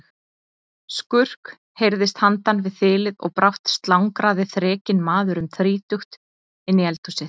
Skurk heyrðist handan við þilið og brátt slangraði þrekinn maður um þrítugt inn í eldhúsið.